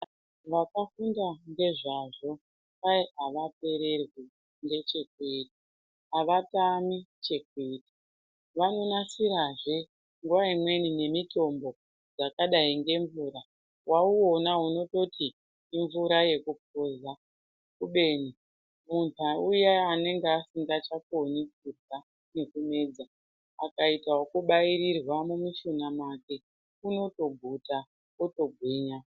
Vakafunda ngezvazvo kwai avapererwi ,ngechekuita, avatami chekuita, vanonasirazve nguwaimweni nemitombo dzakadai ngemvura wawuona unototi imvura yekupuza kubeni munhu uya anenge asingachakoni kurya nekumedza akaita wekubairirwa mumushuna mwake unotorya wotoguta.